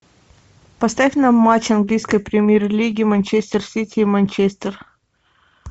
поставь нам матч английской премьер лиги манчестер сити и манчестер